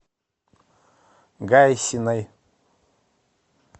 гайсиной